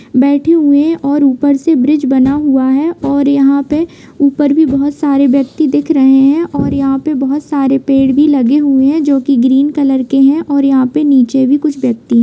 बैठे हुए हैं और ऊपर से ब्रिज बना हुआ है और यहाँ पे ऊपर भी बहोत सारे व्यक्ति दिख रहे हैं और यहाँ पे बहोत सारे पेड़ भी लगे हुए हैं जो की ग्रीन कलर के हैं और यहाँ पे नीचे भी कुछ व्यक्ति हैं ।